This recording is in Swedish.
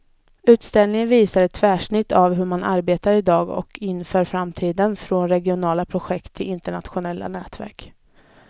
Utställningen visar ett tvärsnitt av hur man arbetar i dag och inför framtiden, från regionala projekt till internationella nätverk.